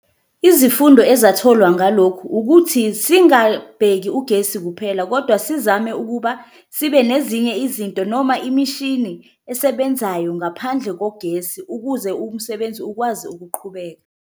Izifundo ezatholwa ngalokho ukuthi singabheki ugesi kuphela kodwa sizame ukuba sibe nezinye izinto noma imishini esebenzayo ngaphandle kogesi, ukuze umsebenzi ukwazi ukuqhubeka.